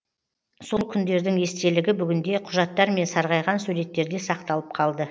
сол күндердің естелігі бүгінде құжаттар мен сарғайған суреттерде сақталып қалды